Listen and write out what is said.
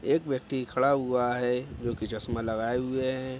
एक व्यक्ति खड़ा हुआ है जो की चश्मा लगाए हुए हैं।